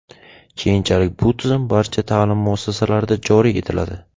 Keyinchalik bu tizim barcha ta’lim muassasalarida joriy etiladi.